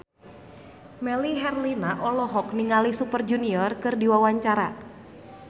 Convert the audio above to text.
Melly Herlina olohok ningali Super Junior keur diwawancara